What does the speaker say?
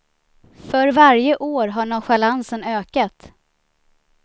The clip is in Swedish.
För varje år har nonchalansen ökat.